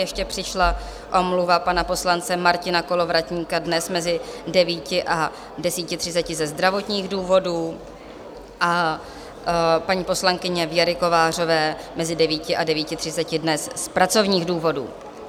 Ještě přišla omluva pana poslance Martina Kolovratníka dnes mezi 9. a 10.30 ze zdravotních důvodů a paní poslankyně Věry Kovářové mezi 9. a 9.30 dnes z pracovních důvodů.